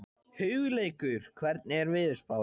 Hugleikur, hvernig er veðurspáin?